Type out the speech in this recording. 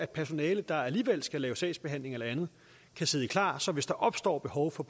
personale der alligevel skal lave sagsbehandling eller andet kan sidde klar så hvis der opstår behov for